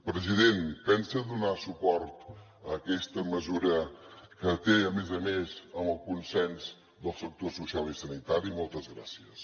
president pensa donar suport a aquesta mesura que té a més a més el consens del sector social i sanitari moltes gràcies